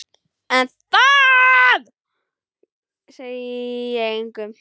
En það segi ég engum.